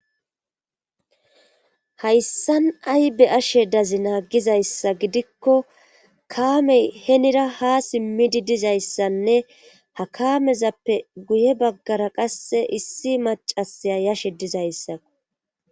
hayssan aybe ashe dazi naa gizayssa gidikko kaamey henira ha simmidi dizayssanne hakamezappe guye baggara qasse issi macasiya yashe dizayssa